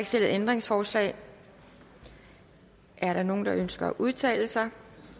stillet ændringsforslag er der nogen der ønsker at udtale sig